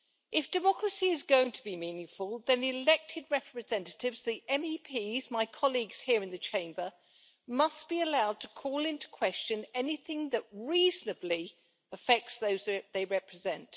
If democracy is going to be meaningful then the elected representatives, the MEPs, my colleagues here in the Chamber must be allowed to call into question anything that reasonably affects those they represent.